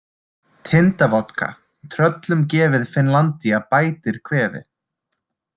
Tindavodka, tröllum gefið Finnlandia bætir kvefið.